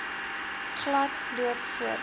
glad loop voorts